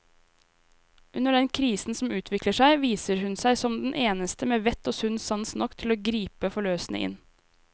Under den krisen som utvikler seg, viser hun seg som den eneste med vett og sunn sans nok til å gripe forløsende inn.